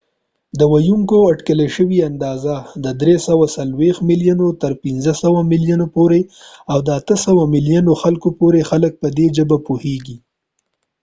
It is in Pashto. د ويونکو اټکل شوي اندازه د 340 ملیونو نه تر 500 ملیونو پورې ده او د 800 ملیونو خلکو پورې خلک په دي ژبه پوهیږی